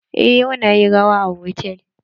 Eh yau nayi rawa a hotal.